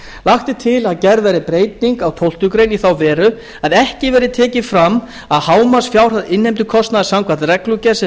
lagt er til að gerð verði breyting á tólftu greinar í þá veru að ekki verði tekið fram að hámarksfjárhæð innheimtukostnaðar samkvæmt reglugerð sem